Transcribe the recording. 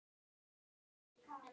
Eða tvær.